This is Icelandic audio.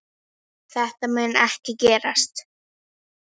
Þetta mun ekki gerast.